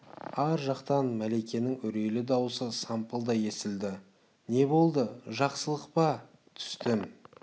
ар жақтан мәликенің үрейлі даусы сампылдай естілді не болды жақсылық па түстім